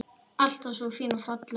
Alltaf svo fín og falleg.